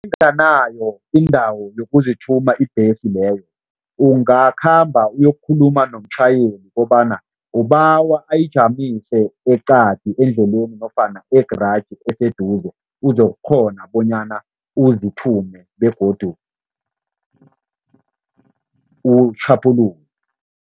Nayinganayo indawo yokuzithuma ibhesi leyo, ungakhamba uyokukhuluma nomtjhayeli kobana ubawa ayijamise eqadi endleleni nofana e-garage eseduze, uzokukghona bonyana uzithume begodu utjhaphuluke.